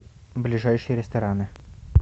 ближайшие рестораны